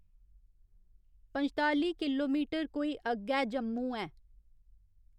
पंजताली किलोमीटर कोई अग्गै जम्मू ऐ